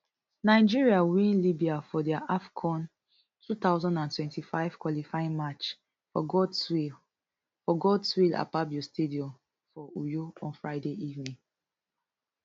nigeria win libya for dia afcon two thousand and twenty-five qualifying match for godswill for godswill akpabio stadium for uyo on friday evening